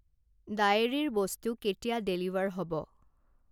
ডায়েৰীৰ বস্তু কেতিয়া ডেলিভাৰ হ'ব?